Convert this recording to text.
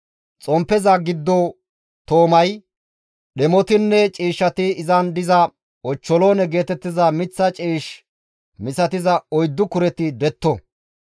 Xomppeza giddo toomay, dhemotinne ciishshati izan diza ochcholoone geetettiza miththa ciish misatiza oyddu kureti detto.